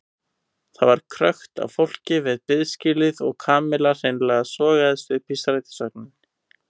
Það var krökkt af fólki við biðskýlið og Kamilla hreinlega sogaðist upp í strætisvagninn.